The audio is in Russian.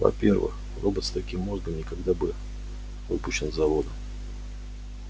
во-первых робот с таким мозгом никогда бы выпущен с завода